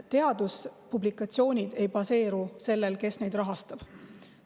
Teaduspublikatsioonid ei baseeru sellel, kes neid rahastab.